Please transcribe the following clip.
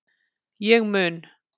Ég mun